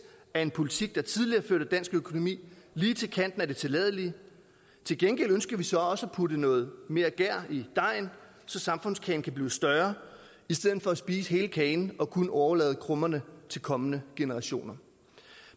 af en politik der tidligere førte dansk økonomi lige til kanten af det tilladelige til gengæld ønsker vi så også at putte noget mere gær i dejen så samfundskagen kan blive større i stedet for at spise hele kagen og kun overlade krummerne til kommende generationer